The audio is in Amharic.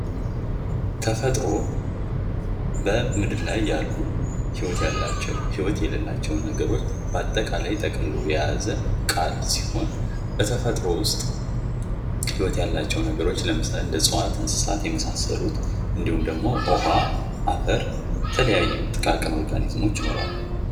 ተፈጥሮ በምድር ላይ ያሉ ህይወት ያላቸው ሂወት የሌላቸው ነገሮች በአጠቃላይ ጠቅልሎ የያዘ ቃል ሲሆን በተፈጥሮ ውስጥ ሂወት ያላቸው ነገሮች ለምሳሌ እንስሳት እጽዋት የመሳሰሉት እንዲሁም ደግሞ በውሃ በአፈር የተለያዩ ጥቃቅን ኦርጋኒዘሞች ።